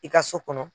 I ka so kɔnɔ